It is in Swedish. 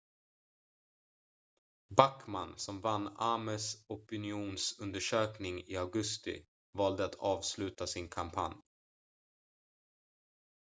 backmann som vann ames opinionsundersökning i augusti valde att avsluta sin kampanj